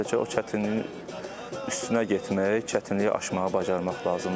Sadəcə o çətinliyin üstünə getmək, çətinliyi aşmağı bacarmaq lazımdır.